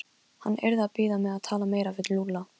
Ari nam staðar og halarófan hægði á sér.